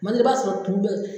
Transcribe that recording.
Kuma dɔ la, i b'a sɔrɔ kun bɛ